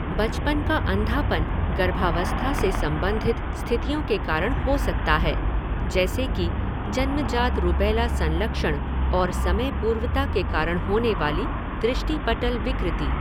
बचपन का अंधापन गर्भावस्था से संबंधित स्थितियों के कारण हो सकता है, जैसे कि जन्मजात रूबेला संलक्षण और समय पूर्वता के कारण होनेवाली दृष्टिपटल विकृति।